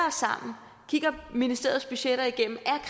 os sammen kigger ministeriets budgetter igennem